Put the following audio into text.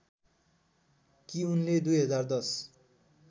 कि उनले २०१०